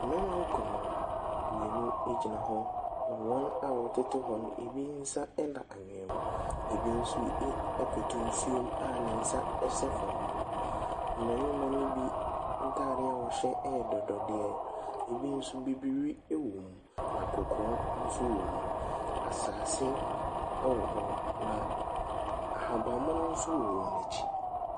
Mmarima nkron, mmienu gyina hɔ, na wɔn a wɔtete hɔ no, ebi nsa da anwea mu, ebi nso ɛ koto nsuom a ne nsa hyɛ fam. Mmarima no bi ntade a wɔhyɛ yɛ dɔdɔdeɛ. Ebi nso bibiri wom, na kɔkɔɔ nso wom. Asase wɔ hɔ, na ahaban mono nso wɔ wɔn akyi.